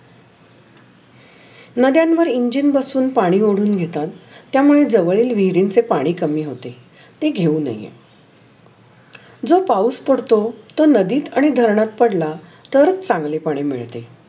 नाध्यांवर engine बसुन पानी ओढून घेतात. त्यामुळे जवळील विहीरींचे पाणी कामी होते. ते घेऊ नये जर पाऊस पडतो तर नादित आणि धरनात पडला तर चांगली पाणी मिळते.